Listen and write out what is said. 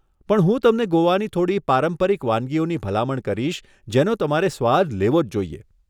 પણ હું તમને ગોવાની થોડી પારંપરિક વાનગીઓની ભલામણ કરીશ જેનો તમારે સ્વાદ લેવો જ જોઈએ.